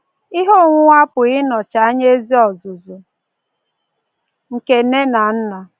Ihe onwunwe apụghị ịnọchi anya ezi ọzụzụ nke nne na nna.